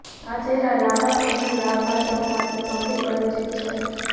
આ ચહેરા લાંબા સમયથી વાગ વાચકો માટે સૌથી પરિચિત છે